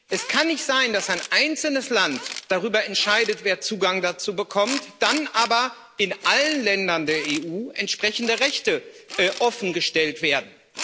Es kann nicht sein, dass ein einzelnes Land darüber entscheidet, wer Zugang dazu bekommt, dann aber in allen Ländern der EU entsprechende Rechte offengestellt werden.